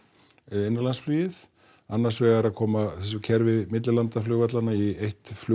innanlandsflugið annars vegar að koma þessu kerfi millilandaflugvallanna í eitt